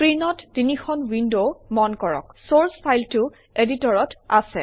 স্ক্ৰীনত তিনিখন উইনড মন কৰকঃ চৰ্চ ফাইলটো এডিটৰত আছে